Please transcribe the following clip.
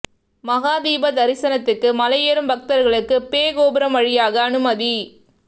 மகா தீப தரிசனத்துக்கு மலை ஏறும் பக்தர்களுக்கு பே கோபுரம் வழியாக அனுமதி